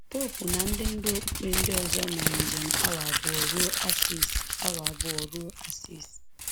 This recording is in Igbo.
Popu na ndị ndú okpukpe ndị ọzọ mere njem awa abụọ ruo Assisi abụọ ruo Assisi